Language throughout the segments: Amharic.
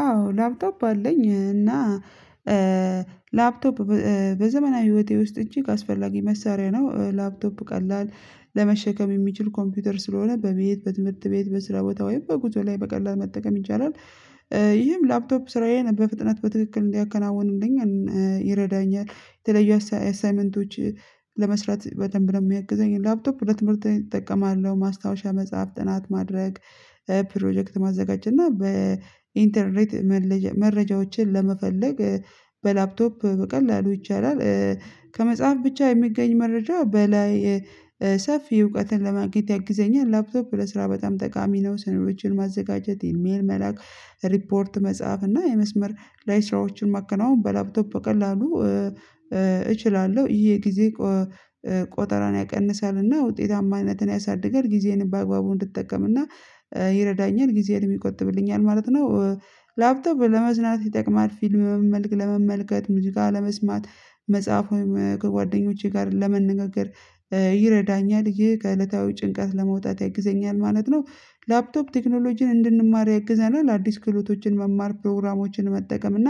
አዎ ላፕቶፕ አለኝ እና ላፕቶፕ በ በዘመናዊ ህይወቴ ውስጥ እጂግ ካስፈላጊ መሳሪያ ነው ላፕቶፕ ቀላል ለመሸከም የሚችል ኮምፒውተር ስለሆነ በቤት በትምህርት ቤት በስራ ቦታ ወይም በጉዞ ላይ በቀላል መጠቀም ይቻላል። ይህም ላፕቶፕ ስራዬን በፍጥነት በትክክል እንዲያከናውንልኝ ይረዳኛል። የተለየ አሳይመንቶች ለመስራት በደንብ የሚያግዘኝ ላፕቶፕ ሁለት ምርት እጠቀማለሁ ማስታወሻ መጽሐፍ ጥናት ማድረግ። ፕሮጀክት ማዘጋጀት እና በኢንተርኔት መረጃዎችን ለመፈለግ በላፕቶፕ በቀላሉ ይቻላል። ከመጽሐፍ ብቻ የሚገኝ መረጃ በላይ ሰፊ እውቀትን ለማግኘት ያግዘኛል። ላፕቶፕ ለስራ በጣም ጠቃሚ ነው። ስነዶችን ማዘጋጀት ኢሜል መላክ ሪፖርት መጽሐፍ እና የመስመር ላይ ስራዎችን ማከናወን በላፕቶፕ በቀላሉ እችላለሁ። ይሄ ጊዜ ቆጠራን ያቀንሳልና ውጤታማ አይነትን ያሳድጋል ጊዜን በአግባቡ እንድትጠቀምና ይረዳኛል ጊዜን የሚቆጥብልኛል ማለት ነው። ላፕቶፕ ለመዝናት ይጠቅማል ፊልም መመ ለመመልከት ሙዚቃ ለመስማት መጽሐፍ ወይም ከጓደኞቼ ጋር ለመንገግር ይረዳኛል። ይህ ከእለታዊ ጭንቀት ለመውጣት ይግዘኛል ማለት ነው። ላፕቶፕ ቴክኖሎጂን እንድንማር ያግዘኛል ለአዲስ ክህሎቶችን መማር ፕሮግራሞችን መጠቀም እና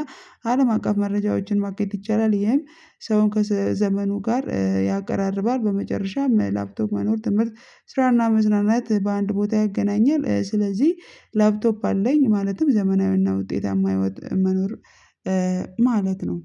አለም አቀፍ መረጃዎችን ማግኘት ይቻላል። ይሄም ሰውን ከዘመኑ ጋር ያቀራርባል። በመጨረሻም ላፕቶፕ መኖር ትምህርት ስራና መዝናናት በአንድ ቦታ ያገናኛል። ስለዚህ ላፕቶፕ አለኝ ማለትም ዘመናዊና ውጤታማ መኖር ማለት ነው